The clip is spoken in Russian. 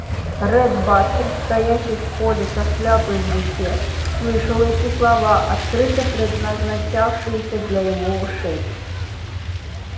ретт батлер стоящий в холле со шляпой в руке слышал эти слова открыто предназначавшиеся для его ушей